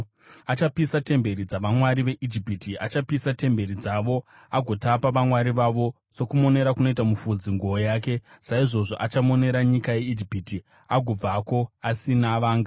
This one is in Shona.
Achapisa temberi dzavamwari veIjipiti; achapisa temberi dzavo agotapa vamwari vavo. Sokumonera kunoita mufudzi nguo yake, saizvozvo achamonera nyika yeIjipiti agobvako asina vanga.